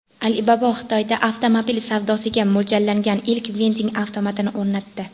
Alibaba Xitoyda avtomobil savdosiga mo‘ljallangan ilk vending avtomatini o‘rnatdi.